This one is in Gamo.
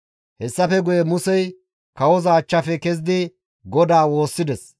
Hessafe guye Musey kawoza achchafe kezidi GODAA woossides.